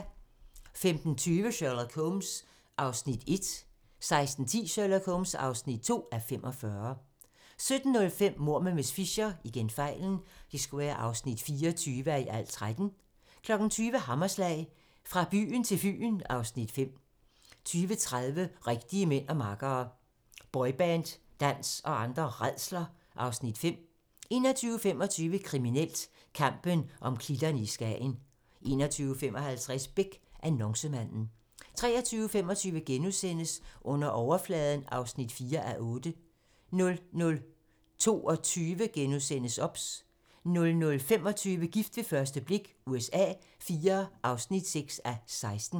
15:20: Sherlock Holmes (1:45) 16:10: Sherlock Holmes (2:45) 17:05: Mord med miss Fisher (24:13) 20:00: Hammerslag - Fra byen til Fyn (Afs. 5) 20:30: Rigtige mænd og makkere - Boyband-dans og andre rædsler (Afs. 5) 21:25: Kriminelt: Kampen om klitterne i Skagen 21:55: Beck: Annoncemanden 23:25: Under overfladen (4:8)* 00:22: OBS * 00:25: Gift ved første blik USA IV (6:16)